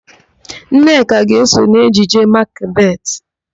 Nneka ga-eso n'ejije Makbetị.